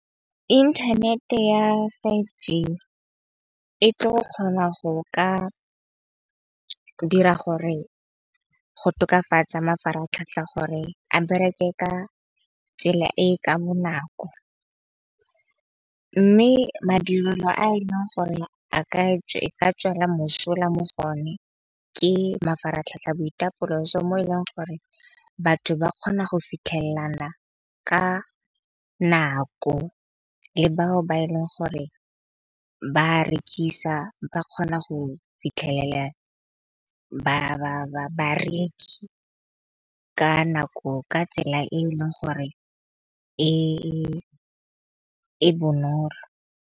Inthanete ya five G e tlo kgona go ka dira gore go tokafatsa mafaratlhatlha gore a bereke ka tsela e ka bonako. Mme madirelo a e leng gore a ka tswela mosola mo go one ke mafaratlhatlha a boitapoloso mo e leng gore batho ba kgona go fitlhelelana ka nako. Le bao ba e leng gore ba rekisa ba kgona go fitlhelela bareki ka nako ka tsela e e leng gore e bonolo.